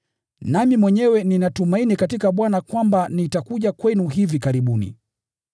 Nami mwenyewe ninatumaini katika Bwana kwamba nitakuja kwenu hivi karibuni.